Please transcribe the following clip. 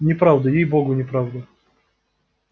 неправда ей-богу неправда